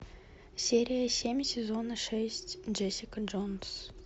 серия семь сезона шесть джессика джонс